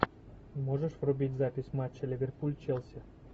можешь врубить запись матча ливерпуль челси